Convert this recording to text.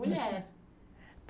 Mulher.